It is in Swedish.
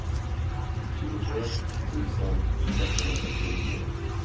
tjugotre tusen sexhundrasextionio